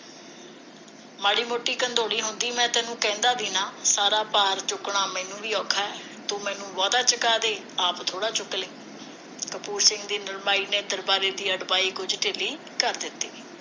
ਮਾੜੀ ਮੋਟੀ ਹੁੰਦੀ ਮੈਂ ਤੈਨੂੰ ਕਹਿੰਦਾ ਵੀ ਨਾ ਸਾਰਾ ਭਾਰ ਚੁੱਕਣਾ ਮੈਨੂੰ ਵੀ ਔਖਾ ਤੂੰ ਮੈਨੂੰ ਬਹੁਤਾ ਚੁੱਕਾ ਦੇ ਆਪ ਥੋੜਾ ਚੁੱਕ ਲੀ ਕਪੂਰ ਸਿੰਘ ਦੀ ਨਰਮਾਈ ਨੇ ਦਰਬਾਰੇ ਦੀ ਅੜਬਾਈ ਕੁਝ ਢਿੱਲੀ ਕਰ ਜਿੱਤੀ